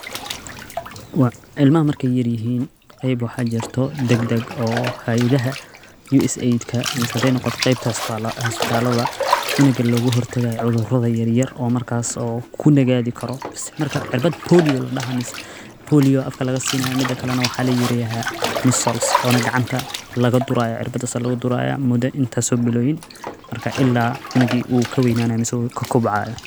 Wa Cilma markay yaryihiin qayb waxaa jarto degdeg oo hay'adaha. USAid ka, misey hadi noqoto qeybta isbitaladha ah cunnugga lagu hortagay cudurada yaryar oo markaas oo ku nagaadi karo. Marka cirbat cs]POLIO la dhahay, mise POLIO afka laga siinaa midaka lana waxaa la yiraahay measals, oo na gacanta laga duraya cirbata laga duraya muddo intaasoo bilowin, marka illaa unuggii uu ka weynaanaay ka kobcay.